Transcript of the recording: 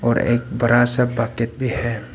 एक बड़ा सा बकेट भी है।